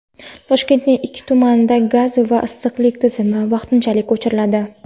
Toshkentning ikki tumanida gaz va issiqlik tizimi vaqtinchalik o‘chiriladi.